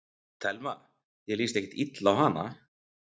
Telma: Þér líst ekkert illa á hana?